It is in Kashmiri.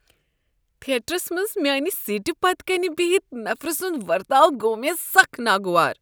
تھیٹرس منٛز میانہ سیٖٹہ پتہٕ کنہ بہتھ نفرٕ سُنٛد ورتاو گوٚو مےٚ سخ ناگوار۔